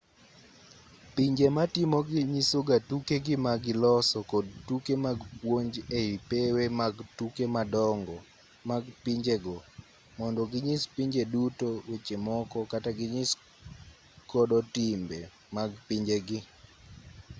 pinje matimogi nyisoga tukegi ma giloso kod tuke mag puonj ei pewe mag tuke madongo mag pinjego mondo ginyis pinje duto weche moko kata ginyis kodo gi timbe mag pinjegi